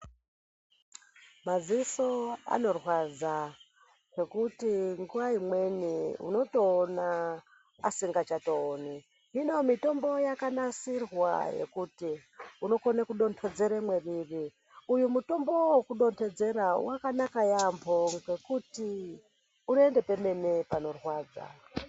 Madziso anorwadza ngekuti nguwa imweni unotoona asingachatooni hino mitombo yakanasirwa yekuti unokona kudonhedzera mwariri uyu mutombo wekudonhedzera wakanaka yaambo ngekuti unoenda pemene panorwadza